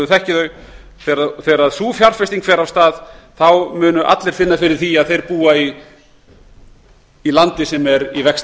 og við þekkjum þau fer af stað munu allir finna fyrir því að þeir búa í landi sem er í vexti